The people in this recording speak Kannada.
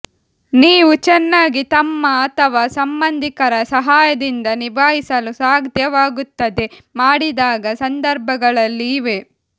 ನೀವು ಚೆನ್ನಾಗಿ ತಮ್ಮ ಅಥವಾ ಸಂಬಂಧಿಕರ ಸಹಾಯದಿಂದ ನಿಭಾಯಿಸಲು ಸಾಧ್ಯವಾಗುತ್ತದೆ ಮಾಡಿದಾಗ ಸಂದರ್ಭಗಳಲ್ಲಿ ಇವೆ